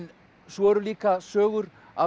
svo eru líka sögur af